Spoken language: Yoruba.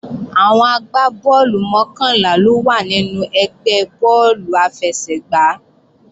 Àwọn agbá bọ́ọ̀lù mọ́kànlá ló wà nínú ẹgbẹ́ bọ́ọ̀lù àfẹsẹ̀gbá